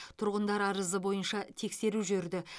тұрғындар арызы бойынша тексеру жүрді